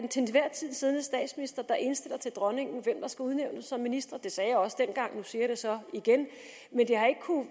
tid siddende statsminister der indstiller til dronningen hvem der skal udnævnes som ministre det sagde jeg også dengang og nu siger jeg det så igen